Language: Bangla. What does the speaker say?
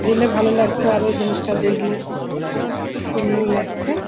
গেলে ভালো লাগতো আরও জিনিসটা দেখলে । আ খুব সুন্দর লাগছে।